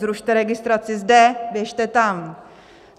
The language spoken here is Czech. Zrušte registraci zde, běžte tam.